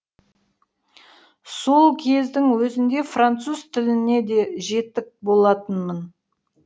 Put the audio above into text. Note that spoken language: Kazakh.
сол кездің өзінде француз тіліне де жетік болатынмын